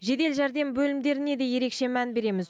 жедел жәрдем бөлімдеріне де ерекше мән береміз